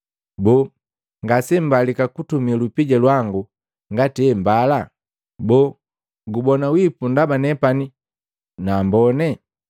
Boo, ngase mbalika kutumi lupija lwangu ngati hembala? Boo, gubona wipu ndaba nepani naambone?